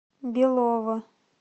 белово